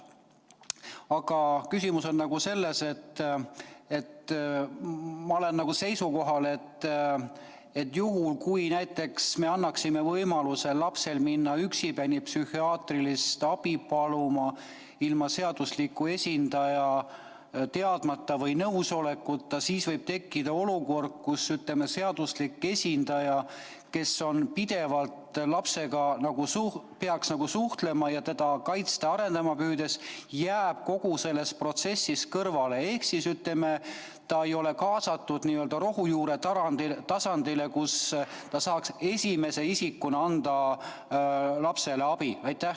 Aga küsimus on selles, et ma olen seisukohal, et juhul, kui me annaksime lapsele võimaluse minna üksipäini psühhiaatrilist abi paluma ilma seadusliku esindaja teadmata või ilma tema nõusolekuta, siis võib tekkida olukord, et seaduslik esindaja, kes peaks lapsega pidevalt suhtlema ning püüdma teda kaitsta ja arendada, jääb kogu selles protsessis kõrvale ehk ta ei ole kaasatud n-ö rohujuure tasandil, kus ta saaks esimese isikuna anda lapsele abi.